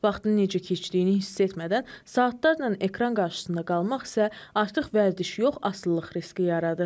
Vaxtının necə keçdiyini hiss etmədən, saatlarla ekran qarşısında qalmaq isə artıq vərdiş yox, asılılıq riski yaradır.